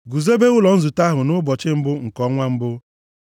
“Guzobe ụlọ nzute ahụ nʼụbọchị mbụ nke ọnwa mbụ.